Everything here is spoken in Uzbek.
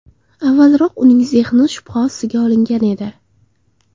Avvalroq uning zehni shubha ostiga olingan edi.